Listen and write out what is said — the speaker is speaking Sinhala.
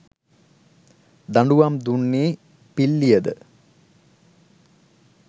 දඬුවම් දුන්නේ පිල්ලියද